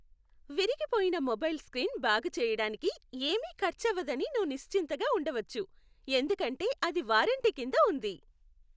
విరిగిపోయిన mobile screen బాగుచెయ్యడానికి ఏమీ ఖర్చవదని నువ్వు నిశ్చింతగా ఉండవచ్చు, ఎందుకంటే అది వారంటీ కింద ఉంది.